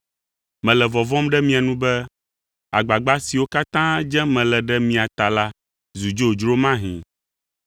Mele vɔvɔ̃m ɖe mia nu be agbagba siwo katã dzem mele ɖe mia ta la zu dzodzro mahĩ.